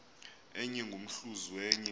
enye ngomhluzi wenye